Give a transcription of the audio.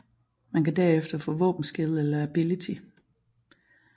Man kan derefter få våben skill eller abillity